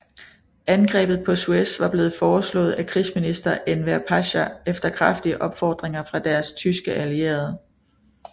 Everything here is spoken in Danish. Angrebet på Suez var blevet foreslået af krigsminister Enver Pasha efter kraftige opfordringer fra deres tyske allierede